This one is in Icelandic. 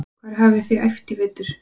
Hvar hafið þið æft í vetur?